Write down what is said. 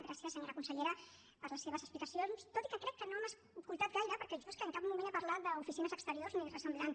gràcies senyora consellera per les seves explicacions tot i que crec que no m’ha escoltat gaire perquè jo és que en cap moment he parlat d’oficines exteriors ni res semblant